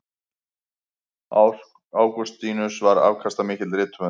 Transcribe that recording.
Ágústínus var afkastamikill rithöfundur.